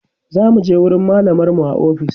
zamuje wurin mallamar mu a ofis